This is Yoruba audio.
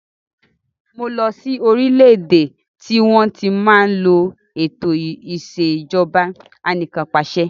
Mo lọ sí orílédé tí wọn tí máa ń lò ètò ìsèjọba anìkanpàṣẹ